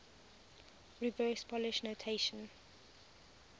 reverse polish notation